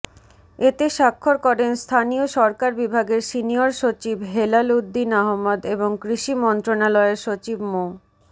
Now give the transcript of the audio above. এতে স্বাক্ষর করেন স্থানীয় সরকার বিভাগের সিনিয়র সচিব হেলালুদ্দীন আহমদ এবং কৃষি মন্ত্রণালয়ের সচিব মো